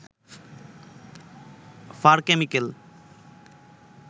fur chemical